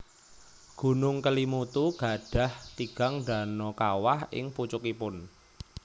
Gunung Kelimutu gadhah tigang dano kawah ing pucukipun